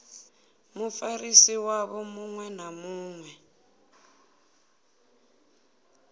mufarisi wavho muṅwe na muṅwe